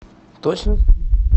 точно